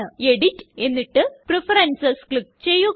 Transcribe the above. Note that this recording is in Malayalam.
എഡിറ്റ് എന്നിട്ട് പ്രഫറൻസസ് ക്ലിക്ക് ചെയ്യുക